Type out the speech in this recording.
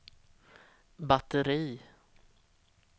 batteri